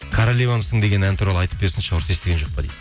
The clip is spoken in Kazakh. королевамсың деген әні туралы айтып берсінші дейді